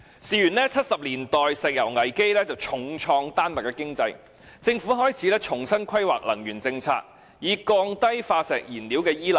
事緣1970年代石油危機重創丹麥的經濟，政府開始重新規劃能源政策，以減少對化石燃料的依賴。